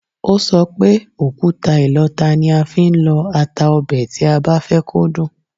Ó sọ pé, òkúta ìlọta ni a fi ń lọ ata ọbẹ̀ tí a bá fẹ́ kó dùn